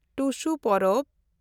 ᱴᱩᱥᱩ ᱯᱚᱨᱚᱵᱽ